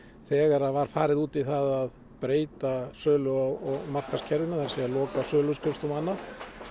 þegar var farið út í það að breyta sölu og markaðskerfinu það er að segja loka söluskrifstofum og annað